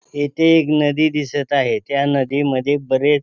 येथे एक नदी दिसत आहे त्या नदीमध्ये बरेच--